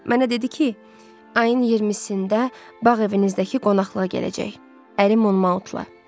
Mənə dedi ki, ayın 20-sində bağ evinizdəki qonaqlığa gələcək, ərim Mountla.